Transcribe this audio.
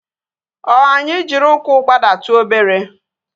O anyị jiri ụkwụ gbadatu obere?